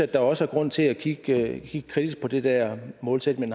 der også er grund til at kigge kritisk på den der målsætning